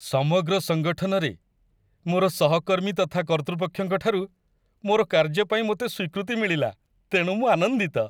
ସମଗ୍ର ସଙ୍ଗଠନରେ, ମୋର ସହକର୍ମୀ ତଥା କର୍ତ୍ତୃପକ୍ଷଙ୍କଠାରୁ, ମୋର କାର୍ଯ୍ୟ ପାଇଁ ମୋତେ ସ୍ୱୀକୃତି ମିଳିଲା, ତେଣୁ ମୁଁ ଆନନ୍ଦିତ।